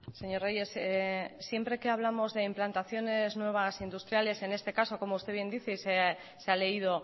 señor reyes siempre que hablamos de implantaciones nuevas industriales en este caso como usted bien dice se ha leído